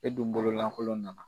E dun bololankolon nana.